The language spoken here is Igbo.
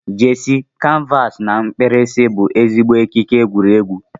jersey, canvas na mkpirisi bụ ezigbo ekike egwuregwu.